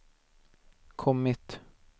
kommit